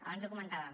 abans ho comentàvem